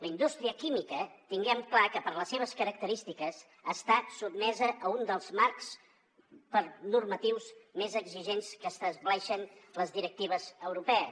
la indústria química tinguem clar que per les seves característiques està sotmesa a un dels marcs normatius més exigents que estableixen les directives europees